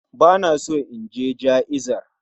Bana so inje ja'izar